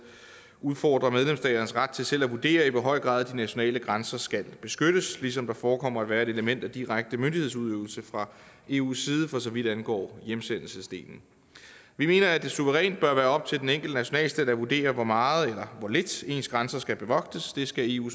udfordrer medlemsstaternes ret til selv at vurdere i hvor høj grad de nationale grænser skal beskyttes ligesom der forekommer at være et element af direkte myndighedsudøvelse fra eus side for så vidt angår hjemsendelsesdelen vi mener at det suverænt bør være op til den enkelte nationalstat at vurdere hvor meget eller hvor lidt ens grænser skal bevogtes det skal eu